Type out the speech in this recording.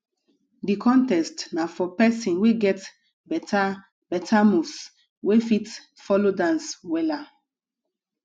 di contest na for pesin wey get beta beta moves wey fit folo dance wella